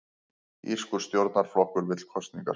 Írskur stjórnarflokkur vill kosningar